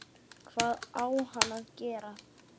Hvað á hann að gera?